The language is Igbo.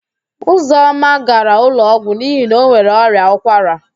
Ụzọma gara ụlọọgwụ n'ihi na o nwere ọrịa ụkwara.